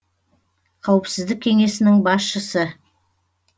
қауіпсіздік кеңесінің басшысы